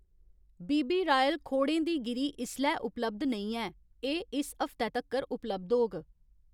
बी B Royal खोड़ें दी गिरी इसलै उपलब्ध नेईं ऐ, एह् इस हफ्तै तक्कर उपलब्ध होग